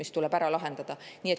See tuleb ära lahendada.